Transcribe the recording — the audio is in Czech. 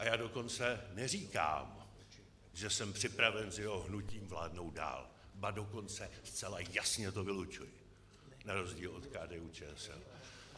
A já dokonce neříkám, že jsem připraven s jeho hnutím vládnout dál, ba dokonce zcela jasně to vylučuji na rozdíl od KDU-ČSL.